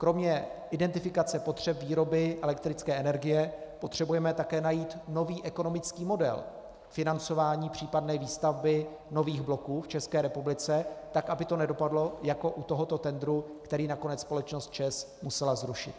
Kromě identifikace potřeb výroby elektrické energie potřebujeme také najít nový ekonomický model financování případné výstavby nových bloků v České republice tak, aby to nedopadlo jako u tohoto tendru, který nakonec společnost ČEZ musela zrušit.